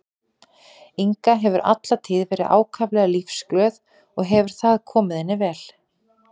Inga hefur alla tíð verið ákaflega lífsglöð og hefur það komið henni vel.